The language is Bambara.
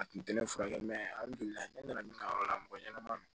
A kun tɛ ne furakɛ a ne nana min kɛ yɔrɔ la mɔgɔ ɲɛnama don